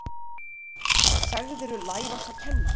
Sagðirðu lær oss að kenna!